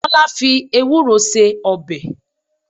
Tọ́lá fi Ewúro se ọbẹ̀.